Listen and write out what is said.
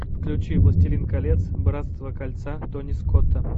включи властелин колец братство кольца тони скотта